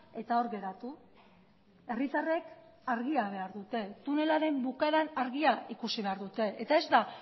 eta hor geratu herritarrek argia behar dute tunelaren bukaeran argia ikusi behar dute eta ez da